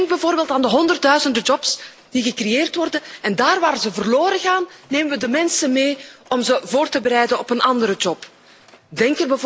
Denk bijvoorbeeld aan de honderdduizenden banen die gecreëerd worden en daar waar ze verloren gaan nemen we de mensen mee om ze voor te bereiden op een andere baan.